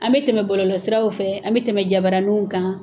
An bɛ tɛmɛ bɔlɔlɔ siraw fɛ, an bɛ tɛmɛ jabaaraniw kan.